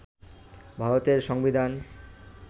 ভারতের সংবিধান